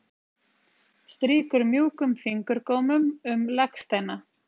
Strýkur mjúkum fingurgómum um legsteina